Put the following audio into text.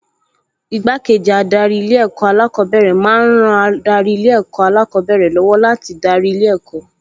Igbákejì adarí Ilé-ẹ̀kọ́ alákọ̀ọ́bẹ̀rẹ̀ máa ń ran adarí Ilé-ẹ̀kọ́ alákọ̀ọ́bẹ̀rẹ̀ lọ́wọ́ láti darí ilé ẹ̀kọ́